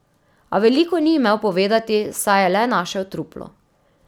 A veliko ni imel povedati, saj je le našel truplo.